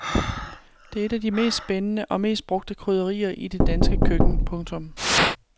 Det er et af de mest spændende og mest brugte krydderier i det danske køkken. punktum